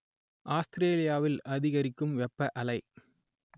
ஆஸ்ட்ரேலியாவில் அதிகரிக்கும் வெப்ப அலை